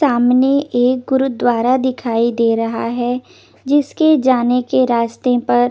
सामने एक गुरुद्वारा दिखाई दे रहा है जिसके जाने के रास्ते पर--